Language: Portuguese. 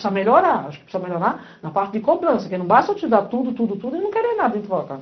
Precisa melhorar, acho que precisa melhorar na parte de cobrança, que não basta eu te dar tudo, tudo, tudo e não querer nada dentro do avocado.